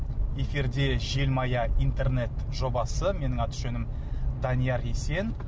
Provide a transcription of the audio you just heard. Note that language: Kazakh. эфирде желмая интернет жобасы менің аты жөнім данияр есен